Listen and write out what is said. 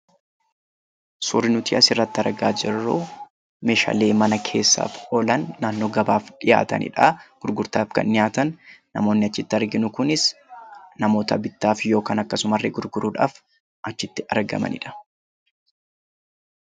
Suurri nuti as irratti argaa jirru meeshaalee mana keessaaf oolan naannoo gabaaf dhiyaatanidha. Namoonni arginu kunis namoota bituuf yookiin gurguruuf achitti argamanidha.